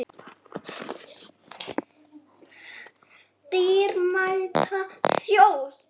Dýrmæta þjóð!